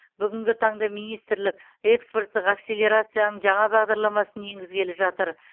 бүгінгі таңда министрлік экспорттық акселерацияның жаңа бағдарламасын енгізгелі жатыр